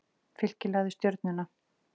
Fylkir lagði Stjörnuna